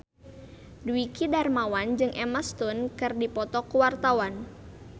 Dwiki Darmawan jeung Emma Stone keur dipoto ku wartawan